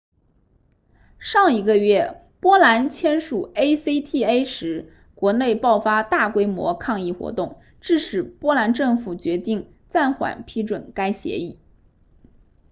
上一个月波兰签署 acta 时国内爆发大规模抗议活动致使波兰政府决定暂缓批准该协议